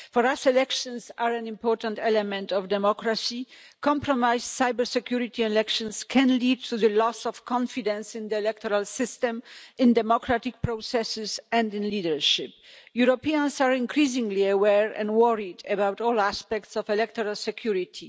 For us, elections are an important element of democracy. Compromised cybersecurity in elections can lead to the loss of confidence in the electoral system, in democratic processes and in leadership. Europeans are increasingly aware and worried about all aspects of electoral security.